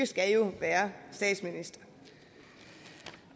skal jo være statsminister